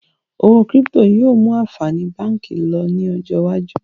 Owó kírípítò yìí ó mú àǹfààní báànkì lọ ní ọjọ́ iwájú